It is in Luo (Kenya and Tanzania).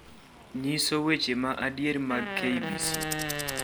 nyiso weche ma adier mag k. b. c.